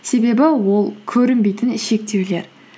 себебі ол көрінбейтін шектеулер